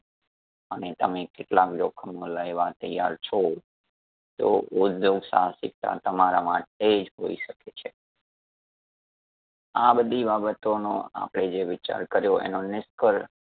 અને તમે કેટલા જોખમો લેવા તૈયાર છો તો ઉધ્યોગ સાહસિકતા તમારા માટે જ હોઈ શકે છે. આ બધી બાબતો નો આપડે જે વિચાર કર્યો એનો નિસકર